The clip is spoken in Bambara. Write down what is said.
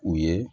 U ye